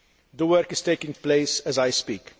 the work is taking place as I speak.